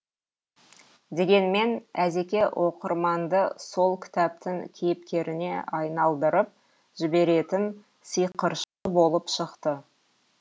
дегенмен әзеке оқырманды сол кітаптың кейіпкеріне айналдырып жіберетін сиқыршы болып шықты